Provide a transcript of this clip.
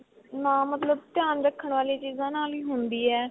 ਨਾ ਮਤਲਬ ਧਿਆਨ ਰੱਖਣ ਵਾਲੀ ਚੀਜ਼ਾ ਨਾਲ ਹੀ ਹੰਦੀ ਏ.